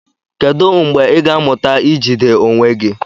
Kedu mgbe ị ga-amụta ijide onwe gị?